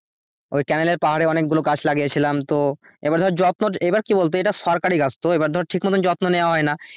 ওই ক্যানেল এ পাহাড়ে অনেক গুলো গাছ লাগিয়েছিলাম তো এইবার ধর যত্ন এইবার কি বলতো এইটা সরকারি গাছ তো এইবার ধর ঠিক মতন যত্ন নেওয়া হয়না।